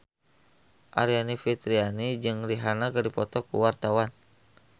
Aryani Fitriana jeung Rihanna keur dipoto ku wartawan